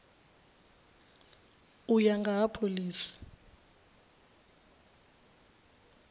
u ya nga ha phoḽisi